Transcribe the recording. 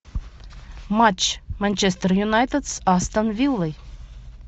матч манчестер юнайтед с астон виллой